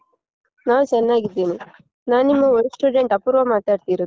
ನಾನ್ ಚೆನ್ನಾಗಿದ್ದೀನಿ. ನಾನ್ ನಿಮ್ಮ old student ಅಪೂರ್ವ ಮಾತಾಡ್ತಿರೋದು.